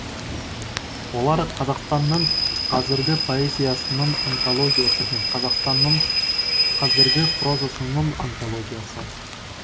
олар қазақстанның қазіргі поэзиясының антологиясы мен қазақстанның қазіргі прозасының антологиясы